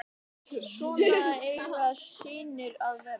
Svona eiga synir að vera.